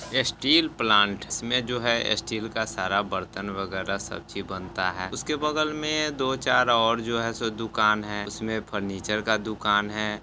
Steel plant इसमें जो है स्टील का सारा बर्तन वगैरह सब चीज बनता है। उसके बगल में दो चार और जो है सो दुकान है। उसमें फर्नीचर का दुकान है।